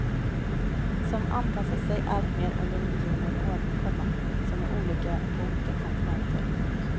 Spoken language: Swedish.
Som anpassat sig allt mer under miljoner år, komma som är olika på olika kontinenter. punkt